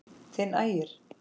Þinn Ægir.